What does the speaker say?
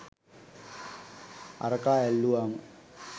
අරකා ඇල්ලුවම